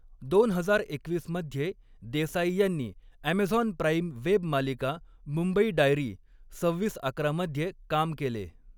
दोन हजार एकवीस मध्ये, द्येसाई यांनी अमेझॉन प्राइम वेब मालिका मुंबई डायरी सव्हीस अकरा मध्ये काम केले.